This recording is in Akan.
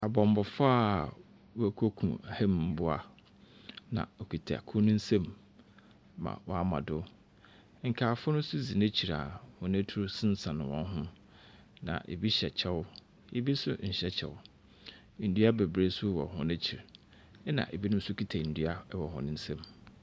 Bɔmmɔfo a wɔkekum ɔham mboa na ɔkuta kor no nsam ma wama do. Nkaefo no nso dzi n’ekyir a wɔn atuo sensɛn wɔn ho, na ebi hyɛ kyɛw ebi nso nhyɛ kyɛw. Ndua bebree nso wɔ wɔn akyir ɛna ebi nso kuta ndua ɛwɔ wɔn nsɛm.